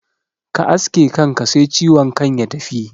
Ka aske kanka sai ciwon kan ya tafi